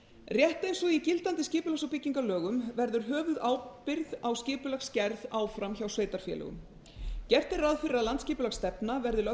rétt eins og í gildandi skipulags og byggingalögum verður höfuðábyrgð á skipulagsgerð áfram hjá sveitarfélögum gert er ráð fyrir að landsskipulagsstefna verði lögð